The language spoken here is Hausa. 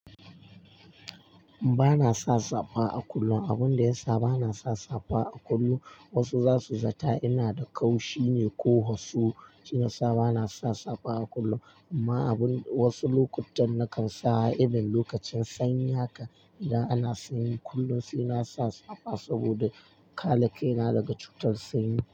Ba na sa safa a kullum. Abin da ya sa ba na sa safa a kullum, wasu za su zata ina da kaushi ne ko hasu shiysa ba na sa safa a kullum. Amma abin wasu lokuttan na kan sa a irin lokacin sanyi haka idan ana sanyi kullum sai na sa safa saboda kare kaina daga cutar sanyi.